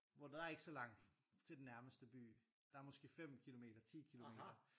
Hvor der er ikke så langt til den nærmeste by der er måske 5 kilometer 10 kilometer